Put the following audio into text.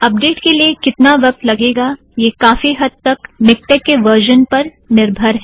update के लिए कितना वक़्त लगेगा यह काफी हद तक मिक्टेक के वर्जन पर निर्भर है